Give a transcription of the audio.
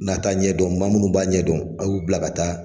N'a ta ɲɛdɔn ma munnu b'a ɲɛdɔn, a y'u bila ka taa.